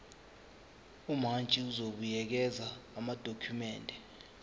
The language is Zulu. umantshi uzobuyekeza amadokhumende